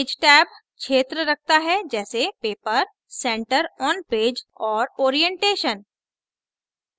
page tab क्षेत्र रखता है जैसे paper center on पेज और orientation